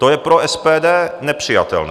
To je pro SPD nepřijatelné.